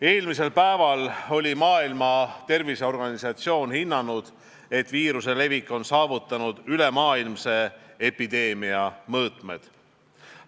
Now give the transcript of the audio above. Eelmisel päeval oli Maailma Terviseorganisatsioon hinnanud, et viiruse levik on saavutanud ülemaailmse epideemia mõõtmed.